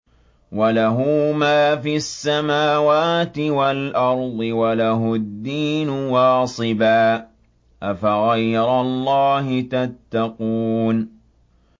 وَلَهُ مَا فِي السَّمَاوَاتِ وَالْأَرْضِ وَلَهُ الدِّينُ وَاصِبًا ۚ أَفَغَيْرَ اللَّهِ تَتَّقُونَ